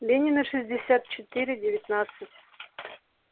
ленина шестьдесят четыре девятнадцать